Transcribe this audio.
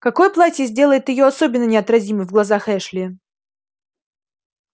какое платье сделает её особенно неотразимой в глазах эшли